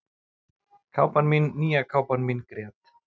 Kápan mín, nýja kápan mín grét